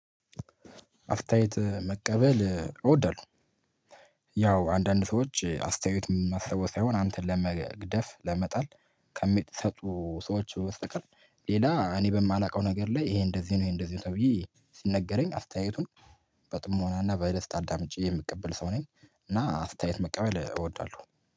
አስተያየት መቀበል እወዳለሁ። ያው አንዳንድ ሰዎች አስተያየት የማስበው ሳይሆን አንቴን ለመግደፍ ለመጣል ከሚሰጡ ሰዎች ውስጥ ቀን ሌላ እኔ በማላቀው ነገር ላይ ይሄ እንደዚህ ነው ይሄ እንደዚህ ነው ተብዬ ሲነገረኝ አስተያየቱን በጥሞናና በደስታ አዳምጬ የሚቀበል ሰው ነኝ እና አስተያየት መቀበል እወዳለሁ።